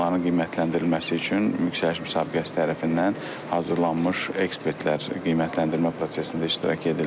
Onların qiymətləndirilməsi üçün yüksəliş müsabiqəsi tərəfindən hazırlanmış ekspertlər qiymətləndirmə prosesində iştirak edirlər.